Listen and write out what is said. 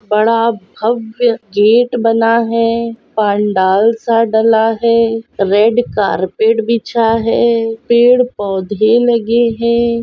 बड़ा भव्य गेट बना है पंडाल सा डला है रेड कारपेट बिछा हैं पेड़ पौधे लगे है।